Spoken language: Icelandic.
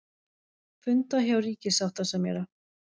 Funda hjá ríkissáttasemjara